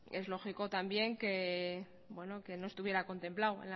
es lógico también que no estuviera contemplado